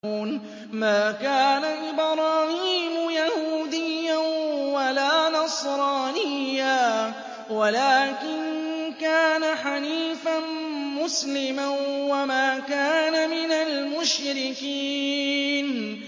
مَا كَانَ إِبْرَاهِيمُ يَهُودِيًّا وَلَا نَصْرَانِيًّا وَلَٰكِن كَانَ حَنِيفًا مُّسْلِمًا وَمَا كَانَ مِنَ الْمُشْرِكِينَ